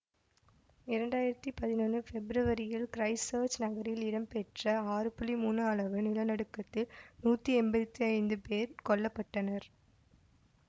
இரண்டாயிரத்தி பதினொன்னு பெப்ரவரியில் கிறைஸ்ட்சேர்ச் நகரில் இடம்பெற்ற ஆறு புள்ளி மூனு அளவு நிலநடுக்கத்தில் நூத்தி எம்பத்தி ஐந்து பேர் கொல்ல பட்டனர்